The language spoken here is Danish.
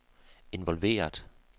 involveret